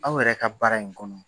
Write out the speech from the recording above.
Aw yɛrɛ ka baara in kɔnɔ.